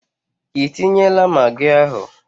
Ị tinyela magị ahu?